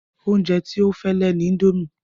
Oúnjẹ tí ó fẹ́ lè ni indomie